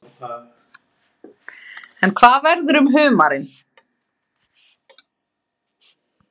En hvað verður um humarinn?